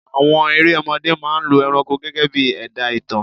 Àwọn erẹ̀ ọmọdé máa ń lọ ẹranko gegebii ẹ̀dá ìtàn